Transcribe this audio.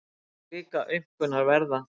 Svona líka aumkunarverða.